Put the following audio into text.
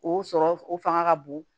O sɔrɔ o fanga ka bon